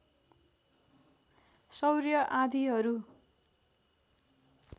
सौर्य आँधीहरू